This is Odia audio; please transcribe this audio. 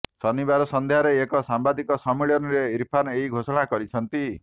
ଶନିବାର ସନ୍ଧ୍ୟାରେ ଏକ ସାମ୍ବାଦିକ ସମ୍ମିଳନୀରେ ଇର୍ଫାନ୍ ଏହି ଘୋଷଣା କରିଛନ୍ତି